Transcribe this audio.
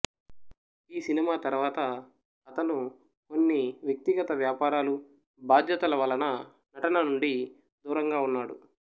ఈ సినిమా తరువాత అతను కొన్ని వ్యక్తిగత వ్యాపారాలు బాధ్యతల వలన నటన నుండి దూరంగా ఉన్నాడు